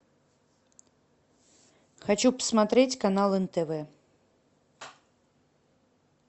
хочу посмотреть канал нтв